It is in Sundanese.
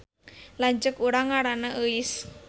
Lanceuk urang ngaranna Euis